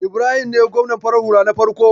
Ibrahim ne gwamnan farar hula na farko.